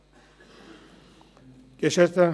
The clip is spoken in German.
neuer Punkt 3.5: